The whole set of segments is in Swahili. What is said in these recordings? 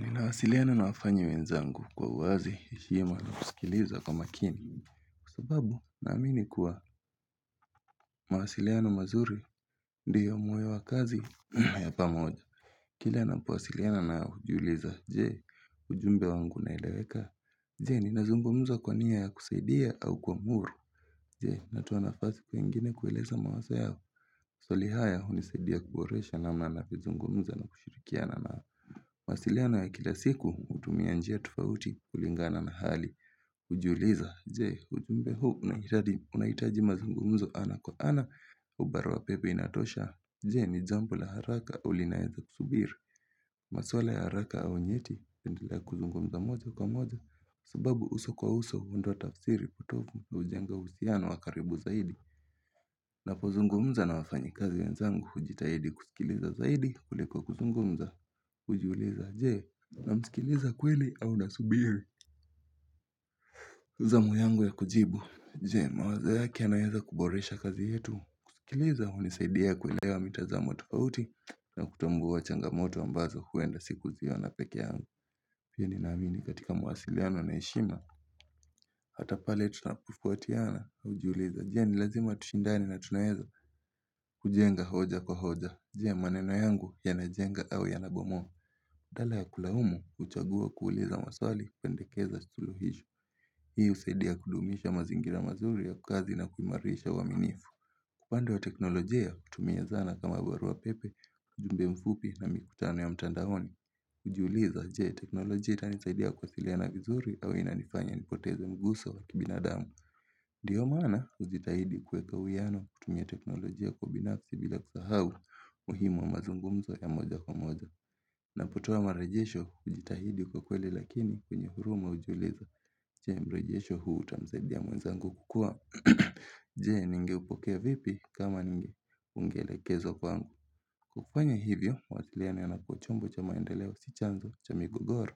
Ninawasiliana na wafanyakazi wenzangu kwa uwazi, heshima na kusikiliza kwa makini. Sababu, naamini kuwa mawasiliano mazuri, ndiyo moyo wa kazi, ya pamoja. Kile napowasiliana najiuliza je, ujumbe wangu umeeleweka? Je, ninazungmza kwa nia ya kusaidia au kuamuru. Je, natoa nafasi kwa wengine kueleza mawazo yao. Maswali haya hunisaidia kuboresha namna navyozungomza na kushirikiana nao. Mawasilianowa kila siku hutumia njia tofauti kulingana na hali hujiuliza, je, ujumbe huu unahitaji mazungumzo ana kwa ana au barua pepe inatosha, je, ni jambo la haraka au linaweza kusubiri. Masuala ya haraka au nyeti, napendelea kuzungumza moja kwa moja. Subabu uso kwa uso, huondoa taafsiri potofu na hujenga uhusiano wa karibu zaidi. Napo zungumza na wafanykazi wenzangu, hujitahidi kusikiliza zaidi, kuliko kuzungumza hujiuliza je? Nasikiliza kweli au nasubiri zamu yangu ya kujibu. Je, mawazo yake yanaweza kuboresha kazi yetu. Kujuliza hunisaidia kuilewa mitazamo tofauti na kutambua changamoto ambazo huenda sikuziona peke yangu pia ninaamini katika mawasiliano na heshima. Hata pale tunapotofautiana hujiuliza je, ni lazima tushindane na tunaweza kujenga hoja kwa hoja. Je maneno yangu yanajenga au yanabomoa badala ya kulaumu huchagua kuuliza maswali kupendekeza suluhisho. Hii husaidia kudumisha mazingira mazuri ya kazi na kuimarisha uaminifu, kwa upande wa teknolojia hutumia zana kama barua pepe, ujumbe mfupi na mikutano ya mtandaoni hujiuliza je teknolojia itanisaidia kuwasiliana vizuri au inanifanya nipoteze mguso wa kibinadamu. Ndiyo maana hujitahidi kuweka uwiano kutumia teknolojia kwa binafsi bila kusahau umuhimu wa mazungumzo ya moja kwa moja na kutoa marejesho hujitahidi kwakweli lakini kwenye huruma hujiuliza. Je, mrejesho huu utamsaidia mwenzangu kukua? Je, ningepokea vipi kama ungeelekezwa kwangu kufanya hivyo mawasiliano yanakuwa chanzo cha maendeleo sio migogoro,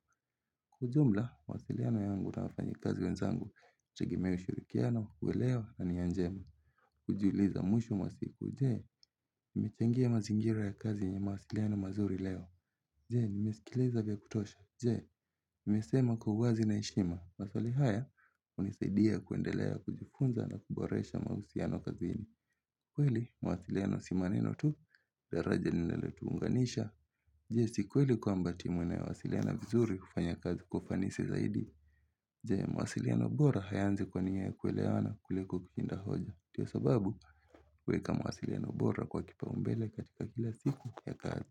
kwa ujumla mawasiliano yangu na wafanyakazi wenzangu hutegemea ushirikiano, uelewa na nija njema. Hujiuliza mwisho wa siku je nimechangia mazingira ya kazi yenye mahusiano mazuri leo? Je, nimesimiliza vya kutosha nimesema kwa uwazi na heshima, maswali haya, hunisaidia kuendelea kujifunza na kuboresha mahusiano kazini. Kweli, mwasiliano si maneno tu, daraja linilotuunganisha. Je si kweli kwamba timu inayowasiliana vizuri hufanya kazi kwa ufanisi zaidi? Je, mawasiliano bora hayaanzi kwa nia ya kuelewana kuliko kushinda hoja? Ndio sababu, kuweka mawasiliano bora kwa kipaumbele katika kila siku ya kazi.